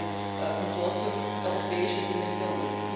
Das ist ein Konsortium europäischer Dimension.